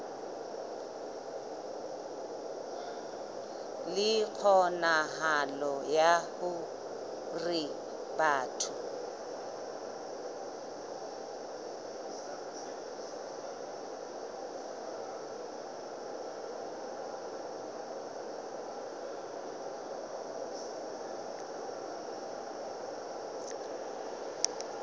le kgonahalo ya hore batho